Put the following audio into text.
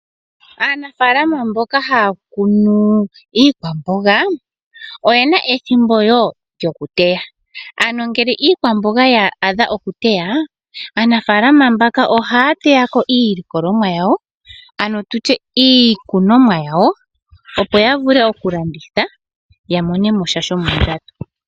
Aanafalama mboka haya kunu iikwamboga oye na ethimbo wo lyokuteya ano ngele iikwamboga ya adha okuteya aanafalama mbaka ohaya teyako iilikolomwa yawo ano iikunomwa yawo opo ya vule okulanditha ya mone mosha shomondjato